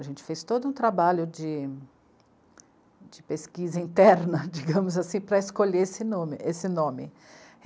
A gente fez todo um trabalho de, de pesquisa interna, digamos assim, para escolher, esse nome, esse nome.